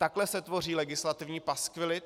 Takhle se tvoří legislativní paskvily.